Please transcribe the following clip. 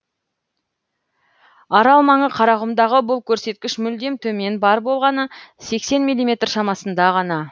арал маңы қарақұмдағы бұл көрсеткіш мүлдем төмен бар болғаны сексен миллиметр шамасында ғана